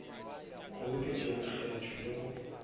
kgoboketšo ya lekgetho le go